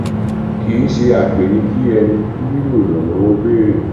kìí ṣe àgbẹ ni kí ẹni nílò ìrànwọ ó béèrè